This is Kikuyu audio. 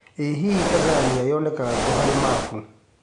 ĩ hihi Tanzania yonekanga kũ harĩ mabũ